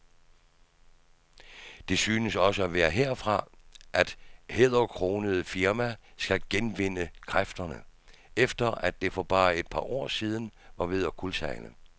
Det synes også at være herfra, det hæderkronede firma skal genvinde kræfterne, efter at det for bare et par år siden var ved at kuldsejle.